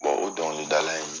o dɔnkilidala in